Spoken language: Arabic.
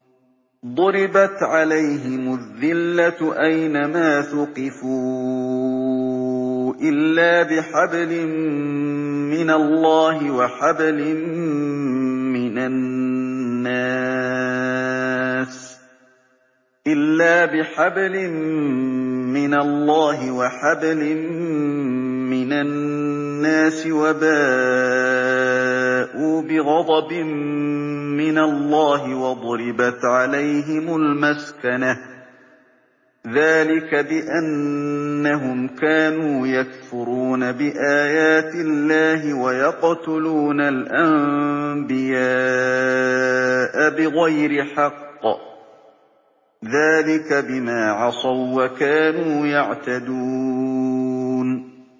ضُرِبَتْ عَلَيْهِمُ الذِّلَّةُ أَيْنَ مَا ثُقِفُوا إِلَّا بِحَبْلٍ مِّنَ اللَّهِ وَحَبْلٍ مِّنَ النَّاسِ وَبَاءُوا بِغَضَبٍ مِّنَ اللَّهِ وَضُرِبَتْ عَلَيْهِمُ الْمَسْكَنَةُ ۚ ذَٰلِكَ بِأَنَّهُمْ كَانُوا يَكْفُرُونَ بِآيَاتِ اللَّهِ وَيَقْتُلُونَ الْأَنبِيَاءَ بِغَيْرِ حَقٍّ ۚ ذَٰلِكَ بِمَا عَصَوا وَّكَانُوا يَعْتَدُونَ